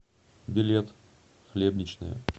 билет хлебничная